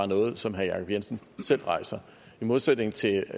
noget som herre jacob jensen selv rejser i modsætning til